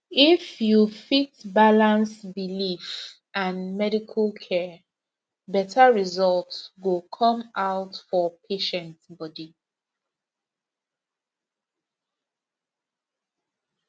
if you fit balance belief and medical care better result go come out for patient body